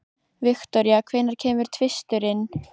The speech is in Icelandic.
Viktoria, hvenær kemur tvisturinn?